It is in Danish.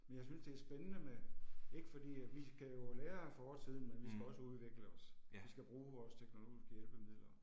Men jeg synes det er spændende med ikke fordi at vi skal jo lære af fortiden, men vi skal også udvikle os. Vi skal bruge vores teknologiske hjælpemidler